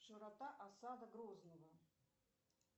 широта осада грозного